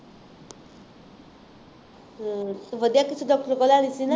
ਹੂੰ ਤੂੰ ਵਧੀਆ ਕਿਸੇ ਡਾਕਟਰ ਤੋਂ ਲੈਣੀ ਸੀ ਨਾ